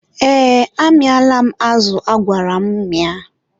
ee, amịala m azụ agwara m mịa.